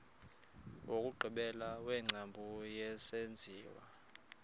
wokugqibela wengcambu yesenziwa